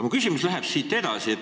Mu küsimus läheb aga siit edasi.